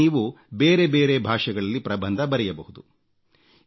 ಇದರಲ್ಲಿ ನೀವು ಬೇರೆಬೇರೆ ಭಾಷೆಗಳಲ್ಲಿ ಪ್ರಬಂಧ ಬರೆಯಬಹುದು